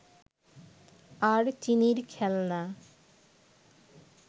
আর চিনির খেলনা